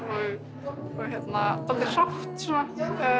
og dálítið hrátt svona